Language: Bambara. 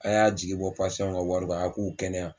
A y'a sigi bɔ pasiyanw ka wari kan a k'u kɛnɛya